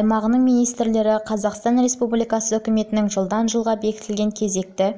аймағының министрлері қазақстан республикасы үкіметінің жылға белгіленген кезекті